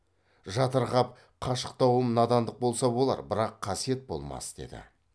жатырқап қашықтауым надандық болса болар бірақ қасиет болмас деді